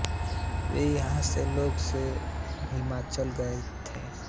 वे यहाँ के लोगों से हिलमिल गए थे